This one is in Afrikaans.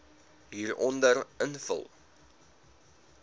hieronder invul